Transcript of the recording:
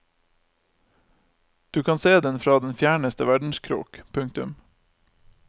Du kan se den fra den fjerneste verdenskrok. punktum